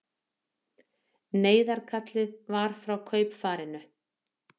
Neyðarkallið var frá kaupfarinu